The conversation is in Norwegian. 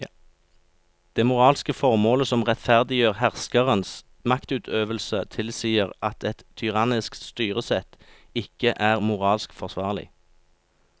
Det moralske formålet som rettferdiggjør herskerens maktutøvelse tilsier at et tyrannisk styresett ikke er moralsk forsvarlig.